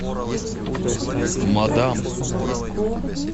мадам